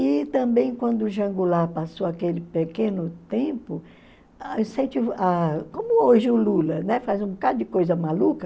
E também quando o João Goulart passou aquele pequeno tempo, como hoje o Lula, ne, faz um bocado de coisa maluca,